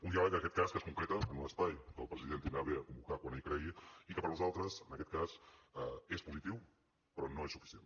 un diàleg que en aquest cas es concreta en l’espai que el president tindrà a bé convocar quan ell cregui i que per nosaltres en aquest cas és positiu però no és suficient